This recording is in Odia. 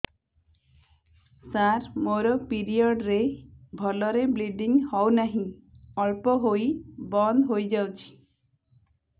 ସାର ମୋର ପିରିଅଡ଼ ରେ ଭଲରେ ବ୍ଲିଡ଼ିଙ୍ଗ ହଉନାହିଁ ଅଳ୍ପ ହୋଇ ବନ୍ଦ ହୋଇଯାଉଛି